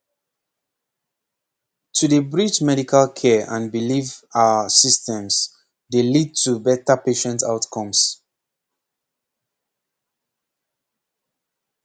pause to dey bridge medical care and belief ah systems dey lead to better patient outcomes